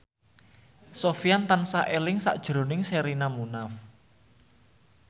Sofyan tansah eling sakjroning Sherina Munaf